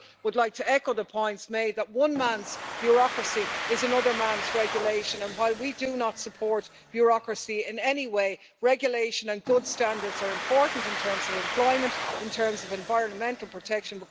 I would like to echo the points made that one man's bureaucracy is another man's regulation, and while we do not support bureaucracy in any way, regulation and good standards are important in terms of employment, in terms of environmental protection.